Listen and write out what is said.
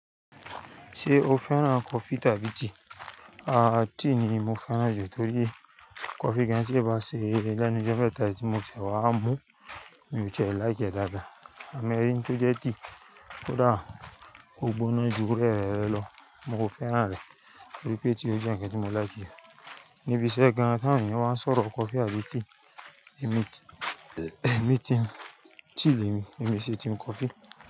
Ṣé o fẹ́ràn kọfi tàbí tíì? Aaa tíì ni mo fẹ́ràn jù torí kọfi gan-an ti ba ṣe lẹ́nu jẹ́ pẹ̀tá tí mo sè wá mú, mi ò ṣe ẹ láì kẹ́ dada. Àmẹ́rí tí ó jẹ́ tea kódà kò gbóná jù rẹ rẹ lọ, mo fẹ́ràn rẹ̀. Bí i pé tea ni ó jẹ́ ǹkan tí mo láikì. Níbi iṣẹ́ gan-an tí àwọn èèyàn máa ń sọ̀rọ̀ kọfi àbí tea, èmi ti-- èmi ti-- tíì ni èmi, èmi ṣe tea mo kọfi.